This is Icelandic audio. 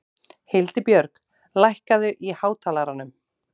Hildibjörg, lækkaðu í hátalaranum.